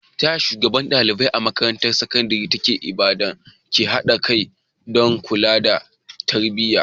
Ta yaya shugabannin ɗalibai a makarantar sakandare ta Ibadan ke haɗa kai don kula da tarbiyya?